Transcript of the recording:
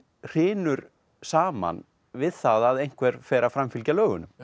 hrynur saman við það að einhver fer að framfylgja lögunum